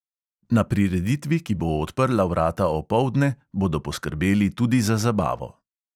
Na prireditvi, ki bo odprla vrata opoldne, bodo poskrbeli tudi za zabavo.